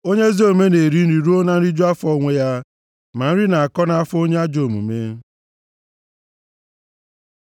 Onye ezi omume na-eri nri ruo na nriju afọ onwe ya, ma nri na-akọ nʼafọ onye ajọ omume.